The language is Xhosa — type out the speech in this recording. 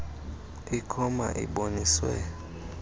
ikho ma iboniswe